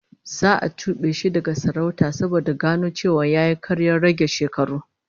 Za a tube shi daga sarauta saboda gano cewa yayi karyar rage shekaru